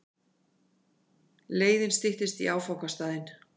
Leiðin styttist í áfangastaðinn.